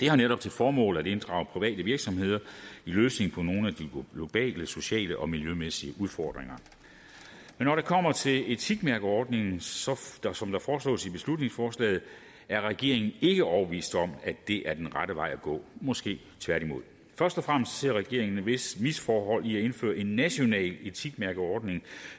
det har netop til formål at inddrage private virksomheder i løsningen af nogle af de globale sociale og miljømæssige udfordringer men når det kommer til etikmærkeordningen som foreslås i beslutningsforslaget er regeringen ikke er overbevist om at det er den rette vej at gå måske tværtimod først og fremmest ser regeringen et vist misforhold i at indføre en national etikmærkeordning